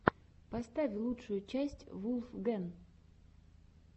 поставь лучшую часть вулфгэн